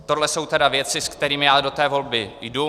Tohle jsou tedy věci, se kterým já do té volby jdu.